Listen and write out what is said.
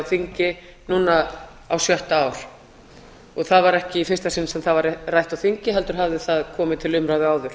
þingi núna á sjötta ár og það var ekki í fyrsta sinn sem það var rætt á þingi heldur hafði það komið til umræða áður